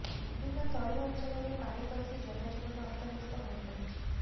ବିଭିନ୍ନ ତଳି ଅଞ୍ଚଳରେ ପାଣି ପଶି ଜନଜୀବନ ଅସ୍ତବ୍ୟସ୍ତ ହୋଇପଡିଛି